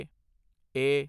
ਏ